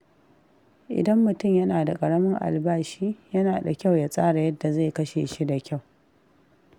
Idan mutum yana da ƙaramin albashi, yana da kyau ya tsara yadda zai kashe shi da kyau.